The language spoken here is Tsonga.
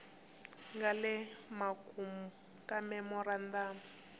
nga le makumu ka memorandamu